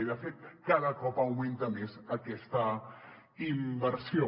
i de fet cada cop augmenta més aquesta inversió